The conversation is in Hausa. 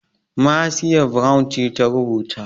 Marcia Brown ce ta rubuta.